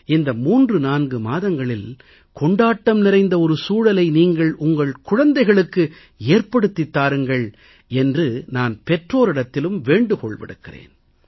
இந்த 34 மாதங்களில் கொண்டாட்டம் நிறைந்த சூழலை நீங்கள் உங்கள் குழந்தைகளுக்கு ஏற்படுத்தித் தாருங்கள் என்று நான் பெற்றோரிடத்திலும் வேண்டுகோள் விடுக்கிறேன்